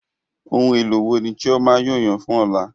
Ohun èlò wo ni Chioma yóò yàn fún ọ̀la?